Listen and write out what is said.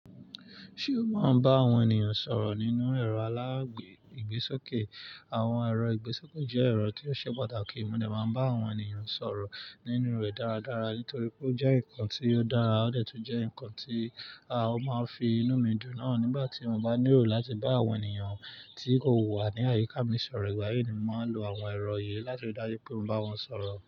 Ṣé o máa ń bá àwọn ènìyàn sọ̀rọ̀ nínú ẹ̀rọ alágbègbẹ́ ìgbésókè? Àwọn ẹ̀rọ ìgbésókè jẹ́ ẹ̀rọ tí ó ṣe pàtàkì, mo lè máa bá àwọn ènìyàn sọ̀rọ̀ nínú rẹ̀ dáradára nítorí pé ó jẹ́ nǹkan tí ó dára, ó lè tún jẹ́ nǹkan tí a máa fi inú mi dùn náà nígbà tí mo bá nílò láti bá àwọn ènìyàn tí ó wà ní àyíká mi sọ̀rọ̀. Ìgbà yìí ni mò ń lo àwọn ẹ̀rọ yìí láti rí dájú pé mo bá wọn sọ̀rọ̀.